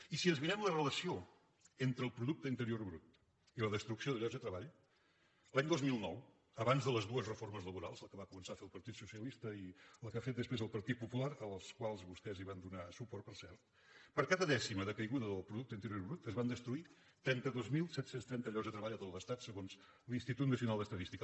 i si ens mirem la relació entre el producte interior brut i la destrucció de llocs de treball l’any dos mil nou abans de les dues reformes laborals la que va començar a fer el partit socialista i la que ha fet després el partit popular a les quals vostès van donar suport per cert per cada dècima de caiguda del producte interior brut es van destruir trenta dos mil set cents i trenta llocs de treball a tot l’estat segons l’institut nacional d’estadística